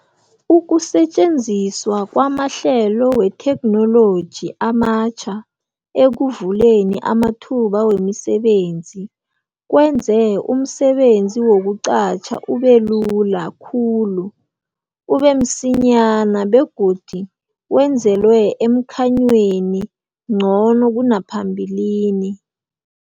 Ukusetjenziswa kwamahlelo wethekhnoloji amatjha ekuvuleni amathuba wemisebenzi kwenze umsebenzi wokuqatjha ube lula khulu, ube msinyana begodu wenzelwe emkhanyweni ngcono kunaphambilini.